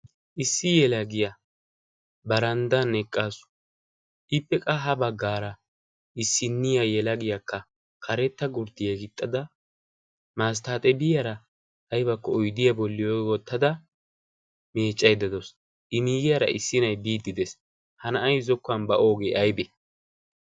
issi yelagiyaa baranddan eqqaasu ippeqa ha baggaara issinniya yelagiyaakka karetta gurdiyaa gixxada maasttaaxebiyaara aybakko oydiyaa bolli woottada meeccay dedoos imiigiyaara issi na'i biidi dees ha na'ay zokkuwan ba oogee aybe